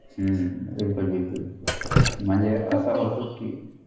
हम्म बिलकुल बिलकुल म्हणजे असं होत कि